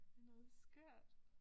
Det noget skørt